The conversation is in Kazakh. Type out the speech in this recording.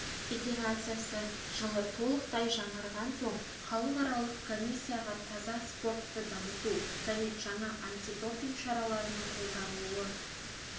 федерациясы жылы толықтай жаңарған соң халықаралық комиссияға таза спортты дамыту және жаңа антидопинг шараларының қолданылуы